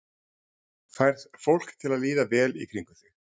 Færð fólk til að líða vel í kringum þig?